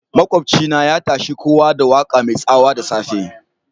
Makobci na ya tashe kowa da waka mai tsawa dasafe.